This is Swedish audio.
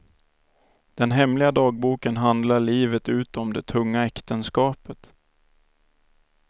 Den hemliga dagboken handlar livet ut om det tunga äktenskapet.